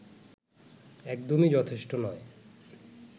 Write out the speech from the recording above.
একদমই যথেষ্ট নয়